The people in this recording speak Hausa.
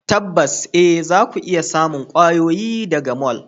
Tabbas eh zaku iya samun kwayoyi daga mall.